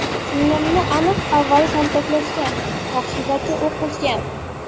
Singlimni aniq avval kaltaklashgan, vahshiylarcha o‘q uzgan.